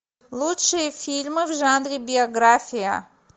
лучшие фильмы в жанре биография